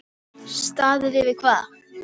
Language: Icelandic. Staðið yfir hvað?